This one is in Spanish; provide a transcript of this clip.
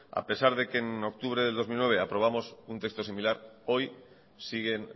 a pesar de que en octubre del dos mil nueve aprobamos un texto similar hoy siguen